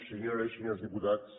senyores i senyors diputats